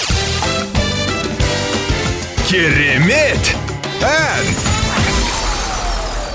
керемет ән